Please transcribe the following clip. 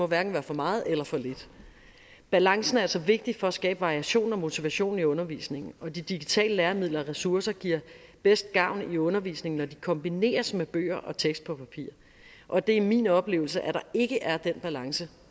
hverken være for meget eller for lidt balancen er altså vigtig for at skabe variation og motivation i undervisningen og de digitale læremidler og ressourcer giver bedst gavn i undervisningen når de kombineres med bøger og tekst på papir og det er min oplevelse at der ikke er den balance